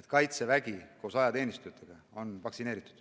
et Kaitsevägi, ka kõik ajateenijad on vaktsineeritud.